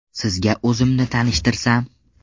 Sizga o‘zimni tanishtirsam.